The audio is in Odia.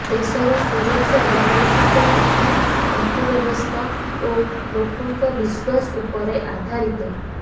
ଦେଶର ସୁରକ୍ଷା ବୈଦେଶିକ ନୀତି ଅର୍ଥବ୍ୟବସ୍ଥା ଓ ଲୋକଙ୍କ ବିଶ୍ୱାସ ଉପରେ ଆଧାରିତ